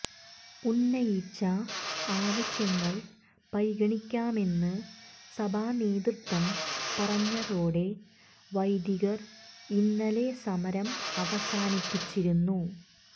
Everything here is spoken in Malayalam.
ഉന്നയിച്ച ആവശ്യങ്ങൾ പരിഗണിക്കാമെന്ന് സഭാ നേതൃത്വം പറഞ്ഞതോടെ വൈദികർ ഇന്നലെ സമരം അവസാനിപ്പിച്ചിരുന്നു